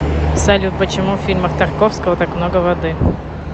салют почему в фильмах тарковского так много воды